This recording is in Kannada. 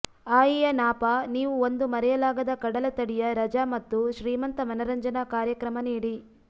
ಆಯಿಯ ನಾಪಾ ನೀವು ಒಂದು ಮರೆಯಲಾಗದ ಕಡಲತಡಿಯ ರಜಾ ಮತ್ತು ಶ್ರೀಮಂತ ಮನರಂಜನಾ ಕಾರ್ಯಕ್ರಮ ನೀಡಿ